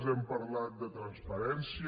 hem parlat de transparència